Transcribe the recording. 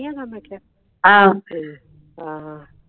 ਹੈਗਾ ਮੈਂ ਕਿਹਾ ਤੇ ਹਾਂ